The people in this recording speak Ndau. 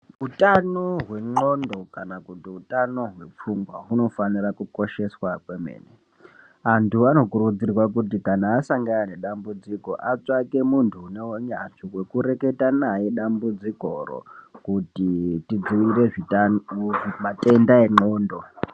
Utano hwendxondo kana kuti utano hwepfungwa hunofanira kukosheswa kwemene, antu anokurudzirwa kuti kana asangana nedambudziko atsvake muntu une unyanzvi hwekureketa naye dambudzikoro kuti tidziirire matenda endxondo.